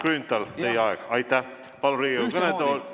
Austatud Kalle Grünthal, teie aeg!